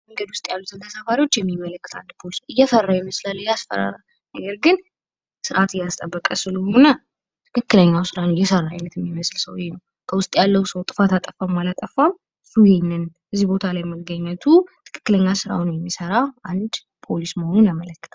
መንገድ ላይ ያሉትን ተሳፋሪዎች አንድ ፖሊስ እየተመለከተ እየፈራ ይመስላል እያስፈራራ ነገር ግን ስርዓት እያስጠበቀ ስለሆነ ትክክለኛውን የስራ አይነት እየሰራ የሚመስል ሰውየ ነው። ከውስጥ ያለው ሰው ጥፋት አጠፋም አላጠፋም እሱ ይህንን እዚህ ቦታ ላይ መገኘቱ ትክክለኛ ስራውን የሚሰራ አንድ ፖሊስ መሆኑን ያመለክታል።